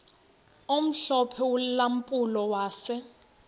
omhlophe ulampulo wase